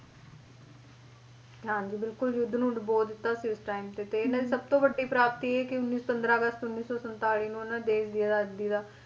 ਹਾਂਜੀ ਬਿਲਕੁਲ ਯੁੱਧ ਨੂੰ ਡੁਬੋ ਦਿੱਤਾ ਸੀ ਉਸ time ਤੇ ਸਭਤੋਂ ਵੱਡੀ ਪ੍ਰਾਪਤੀ ਇਹ ਕੇ ਉੱਨੀ ਪੰਦਰਾਂ ਅਗਸਤ ਉੱਨੀ ਸੌ ਸੰਤਾਲੀ ਨੂੰ ਉਹਨਾਂ ਨੇ ਦੇਸ਼ ਦੀ ਆਜ਼ਾਦੀ ਦਾ